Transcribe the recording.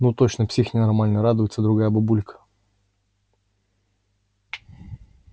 ну точно псих ненормальный радуется другая бабулька